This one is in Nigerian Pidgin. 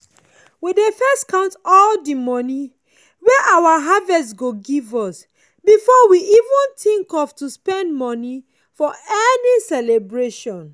we dey first count all the money wey our harvest go give us before we even think of to spend money for any celebration.